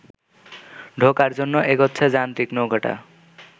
ঢোকার জন্য এগোচ্ছে যান্ত্রিক নৌকোটা